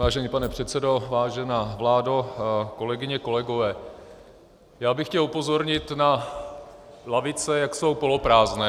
Vážený pane předsedo, vážená vládo, kolegyně, kolegové, já bych chtěl upozornit na lavice, jak jsou poloprázdné.